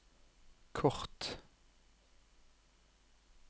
kort